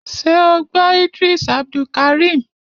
Ṣé o gbọ́ Idris Abdulkareem?